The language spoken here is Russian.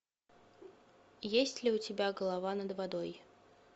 есть ли у тебя голова над водой